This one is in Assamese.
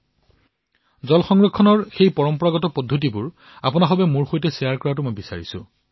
মই আপোনালোক সকলোকে জল সংৰক্ষণৰ বাবে সেই পৰম্পৰাগত প্ৰক্ৰিয়াসমূহ বিনিময় কৰিবলৈ আহ্বান জনাইছো